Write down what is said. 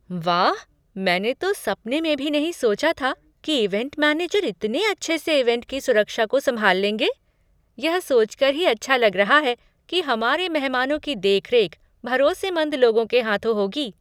वाह, मैंने तो सपने में भी नहीं सोचा था कि ईवेंट मैनेजर इतने अच्छे से ईवेंट की सुरक्षा को संभाल लेंगे! यह सोचकर ही अच्छा लग रहा है कि हमारे मेहमानों की देखरेख भरोसेमंद लोगों के हाथों होगी।